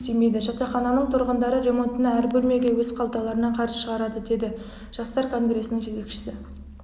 жұмыс істемейді жатақхананың тұрғындары ремонтына әр бөлмеге өз қалталарынан қаржы шығарады деді жастар конгресінің жетекшісі